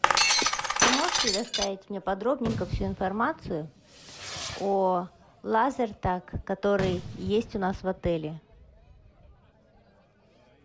ты можешь предоставить мне подробненько всю информацию о лазертаг который есть у нас в отеле